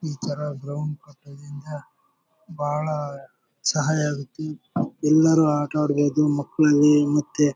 ಈ ತರ ಗ್ರೌಂಡ್ ಇರೋದ್ರಿಂದ ಬಾಳ ಸಹಾಯ ಆಗುತ್ತೆ ಎಲ್ಲರು ಆಟ ಆಡ್ಬೇಕು ಮಕ್ಕಳಿಗೆ ಮತ್ತೆ--